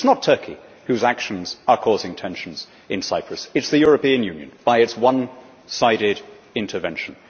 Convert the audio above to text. It is not Turkey whose actions are causing tensions in Cyprus, it is the European Union by its one sided intervention.